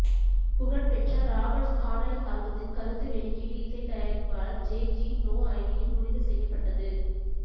புகழ்பெற்ற Robert Scandalous ஆல்பத்தில் கருத்து வெளியீடு இசை தயாரிப்பாளர் ஜே ஜீ நோ ஐடியின் முடிவு செய்யப்பட்டது